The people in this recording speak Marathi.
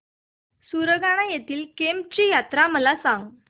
सुरगाणा येथील केम्ब ची यात्रा मला सांग